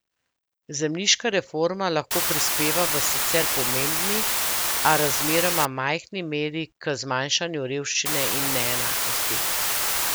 Zemljiška reforma lahko prispeva v sicer pomembni, a razmeroma majhni meri k zmanjšanju revščine in neenakosti.